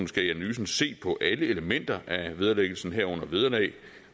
skal i analysen se på alle elementer af vederlæggelsen herunder vederlag